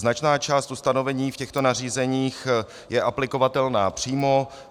Značná část ustanovení v těchto nařízeních je aplikovatelná přímo.